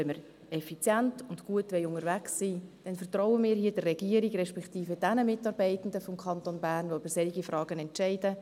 Wenn wir effizient und gut unterwegs sein wollen, dann vertrauen wir hier der Regierung, respektive den Mitarbeitenden des Kantons Bern, die über solche Fragen entscheiden.